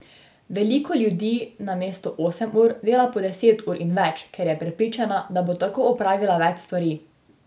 Veliko ljudi namesto osem ur dela po deset ur in več, ker je prepričana, da bo tako opravila več stvari.